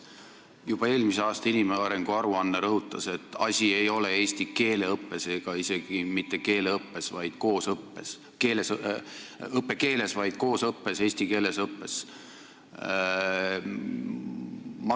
Juba eelmise aasta inimarengu aruanne rõhutas, et asi ei ole eesti keele õppes ega isegi mitte keeleõppes, vaid koosõppes, st mitte õppekeeles, vaid koosõppes, eesti keeles õppes.